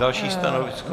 Další stanovisko.